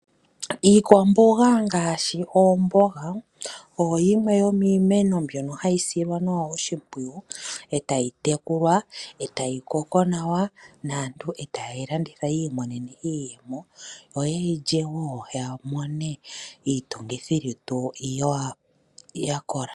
Iikwamboga ngaashi omboga oyimwe yomi meno mbyono hayi silwa nawa oshimpwu etayi tekulwa etayi koko nawa naantu eta yeyi landitha yi imonene iiyemo noyeyi lye yamone iitungithi lutu yakola.